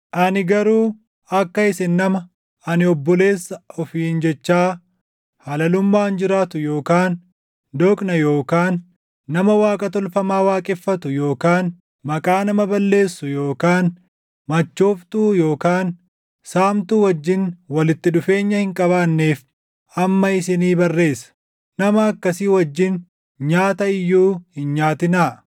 Ani garuu akka isin nama, “Ani obboleessa” ofiin jechaa halalummaan jiraatu yookaan doqna yookaan nama Waaqa tolfamaa waaqeffatu yookaan maqaa nama balleessu yookaan machooftuu yookaan saamtuu wajjin walitti dhufeenya hin qabaanneef amma isinii barreessa. Nama akkasii wajjin nyaata iyyuu hin nyaatinaa!